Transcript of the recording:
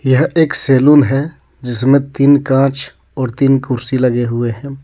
यह एक सेलून है जिसमें तीन कांच और तीन कुर्सी लगे हुए हैं.